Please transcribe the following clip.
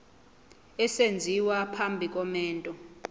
esenziwa phambi komendo